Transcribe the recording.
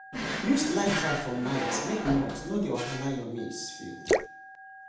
use light trap for night make moth no dey wahala your maize field.